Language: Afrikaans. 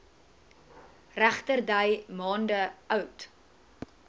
regterdy maande oud